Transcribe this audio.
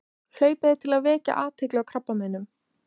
Hlaupið til að vekja athygli á krabbameinum.